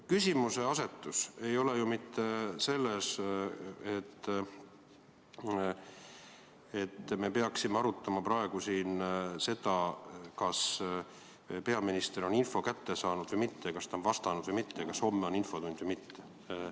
Küsimuseasetus ei ole ju mitte selles, et me peaksime arutama praegu siin seda, kas peaminister on info kätte saanud või mitte, kas ta on vastanud või mitte, kas homme on infotund või mitte.